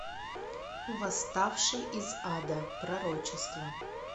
восставший из ада пророчество